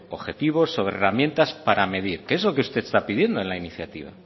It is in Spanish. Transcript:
objetivos sobre herramientas para medir que es lo que usted está pidiendo en la iniciativa